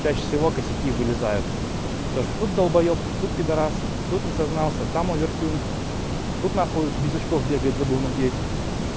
чаще всего косяки вылезают то что тут долбоёб тут пидарас тут не сознался там овертюн тут нахуй без очков бегает забыл надеть